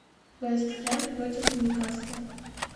вест хэм против ньюкасла